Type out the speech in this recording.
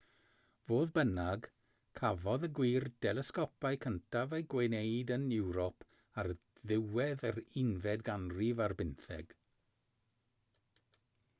fodd bynnag cafodd y gwir delesgopau cyntaf eu gwneud yn ewrop ar ddiwedd yr unfed ganrif ar bymtheg